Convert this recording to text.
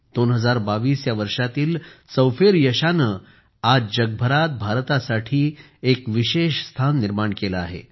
2022 या वर्षातील चौफेर यशाने आज जगभरात भारतासाठी एक विशेष स्थान निर्माण केले आहे